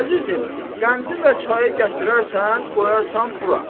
Əzizim, qəndi və çayı gətirərsən, qoyarsan bura.